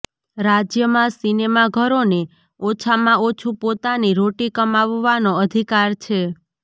રાજ્યમાં સિનેમાઘરોને ઓછામાં ઓછું પોતાની રોટી કમાવવાનો અધિકાર છે